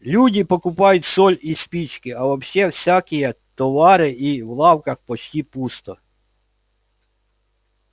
люди покупают соль и спички а вообще всякие товары и в лавках почти пусто